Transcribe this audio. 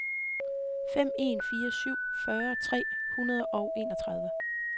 fem en fire syv fyrre tre hundrede og enogtredive